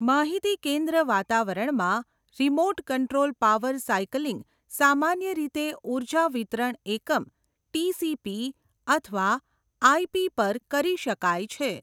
માહિતી કેન્દ્ર વાતાવરણમાં, રિમોટ કંટ્રોલ પાવર સાઇકલિંગ સામાન્ય રીતે ઉર્જા વિતરણ એકમ, ટીસીપી અથવા આઈપી પર કરી શકાય છે.